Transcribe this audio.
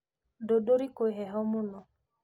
Ndũndũri kwĩ heho mũno